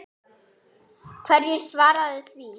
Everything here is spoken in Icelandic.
Hverju svararðu því?